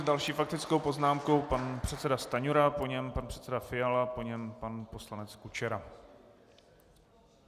S další faktickou poznámkou pan předseda Stanjura, po něm pan předseda Fiala, po něm pan poslanec Kučera.